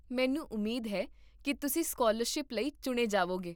ਮੈਨੂੰ ਉਮੀਦ ਹੈ ਕੀ ਤੁਸੀਂ ਸਕਾਲਰਸ਼ਿਪ ਲਈ ਚੁਣੇ ਜਾਵੋਗੇ